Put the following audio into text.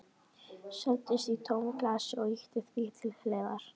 Seildist í tómt glasið og ýtti því til hliðar.